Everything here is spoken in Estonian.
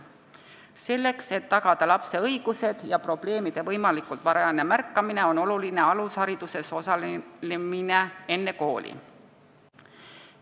Selleks, et tagada lapse õigused ja probleemide võimalikult varajane märkamine, on oluline, et laps enne kooli alushariduses osaleks.